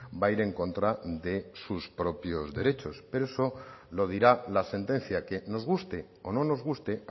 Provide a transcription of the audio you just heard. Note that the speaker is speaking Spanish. va a ir en contra de sus propios derechos pero eso lo dirá la sentencia que nos guste o no nos guste